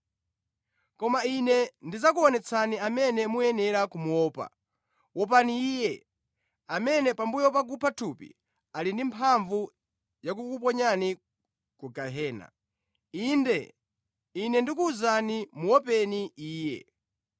Koma Ine ndidzakuonetsani amene muyenera kumuopa: Wopani Iye, amene pambuyo pakupha thupi, ali ndi mphamvu yakukuponyani ku gehena. Inde, Ine ndikuwuzani, muopeni Iye.